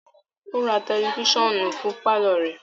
O ra tẹlifisiọnu fún parlor rẹ